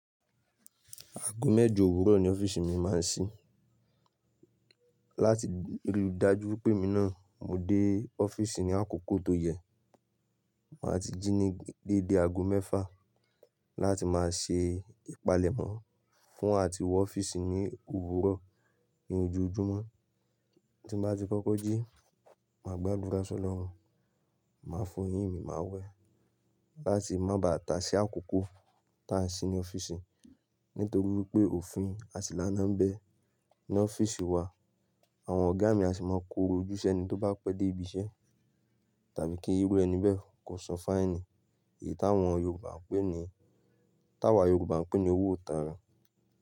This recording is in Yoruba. Aago mẹ́jọ òwúrọ̀ ni ọ́fíìsì mi máa ń ṣí. Láti rí i dájú pé èmi náà mo dé ọ́fíìsì ní àkókò tó yẹ, màá ti jí ní dédé aago mẹ́fà láti máa ṣe ìpalẹ̀mọ́ fún àti wọ ọ́fíìsì ní òwúrọ̀ ní ojoojúmọ́. Tí n bá ti kọ́kọ́ jí, màá gbádura s"ọ́lọ́run, màá fọ eyín mi, màá wẹ̀ láti má ba à ta sí àkókò ta sì ní ọ́fíìsì. Nítorí pé òfin àṣìlẹ̀ náà ń bẹ, ní ọ́fíìsì wa, àwọn ọ̀gá mi a sì máa koro ojú s'ẹ́ni tó bá pẹ́ dé ibi iṣẹ́ tàbí kí irú ẹni bẹ́ẹ̀ kò san fáìnì èyí táwọn Yorùbá ń pè ní, táwà Yorùbá ń pè ní owó ìtanràn.